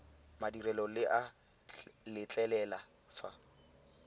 madirelo le a letlelela fa